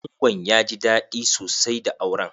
Angon ya ji daɗi sosai da auren.